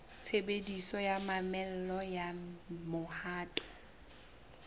tshebediso ya mamello ya mohato